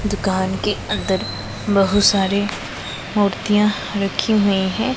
दुकान के अंदर बहोत सारे मूर्तियां रखी हुई है।